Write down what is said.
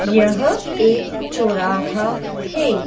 यह एक चोराहा है।